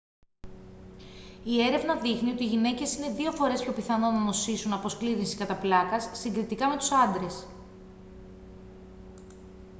η έρευνα δείχνει ότι οι γυναίκες είναι δύο φορές πιο πιθανό να νοσήσουν από σκλήρυνση κατά πλάκας συγκριτικά με τους άντρες